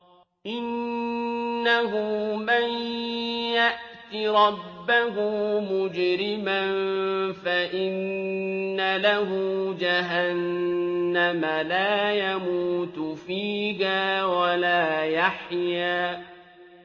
إِنَّهُ مَن يَأْتِ رَبَّهُ مُجْرِمًا فَإِنَّ لَهُ جَهَنَّمَ لَا يَمُوتُ فِيهَا وَلَا يَحْيَىٰ